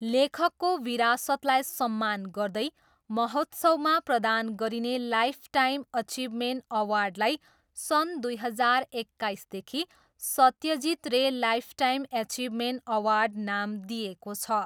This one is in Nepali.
लेखकको विरासतलाई सम्मान गर्दै महोत्सवमा प्रदान गरिने लाइफटाइम एचिभमेन्ट अवार्डलाई सन् दुई हजार एक्काइसदेखि 'Satyajit Ray lifetime achievement award' नाम दिइएको छ।